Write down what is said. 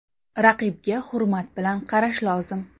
Raqibga hurmat bilan qarash lozim.